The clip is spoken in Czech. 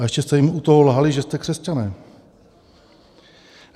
A ještě jste jim u toho lhali, že jste křesťané.